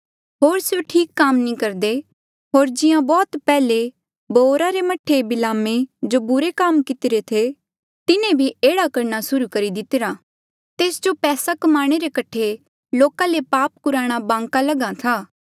होर स्यों ठीक काम नी करदे होर जिहां बौह्त पैहले बओरा रे मह्ठे बिलामे जो बुरे काम कितिरे थे तिन्हें भी एह्ड़ा करणा सुर्हू करी दितिरा तेस जो पैसा कमाणे रे कठे लोका ले पाप कुराणा बांका लगहा था